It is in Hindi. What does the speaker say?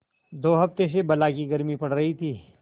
दो हफ्ते से बला की गर्मी पड़ रही थी